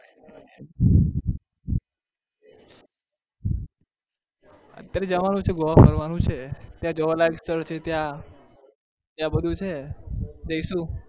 અત્યારે જવાનું છે ગોવા ફરવાનું છે ત્યાં જોવાલાયક સ્થળ છે ત્યાં ત્યાં બધું છે જઈશું